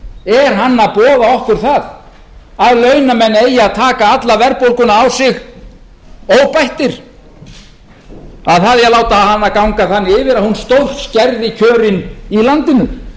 er hann að boða okkur það að launamenn eigi að taka alla verðbólguna á sig óbættir að það eigi að láta hana ganga þannig yfir að hún stórskerði kjörin í landinu